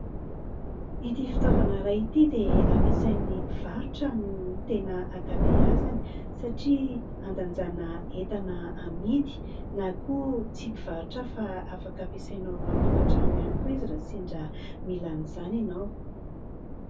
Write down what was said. Ity fitaovana iray ity dia ampiasain'ny mpivarotra no tena ankabeazany satria handanjana entana amidy ; na koa tsy mpivarotra fa afaka ampiasainao ao an-tokantrano ihany koa izy raha mila izany ianao.